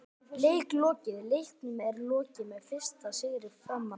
Leik lokið: Leiknum er lokið með fyrsta sigri Framara!!